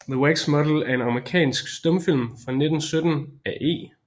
The Wax Model er en amerikansk stumfilm fra 1917 af E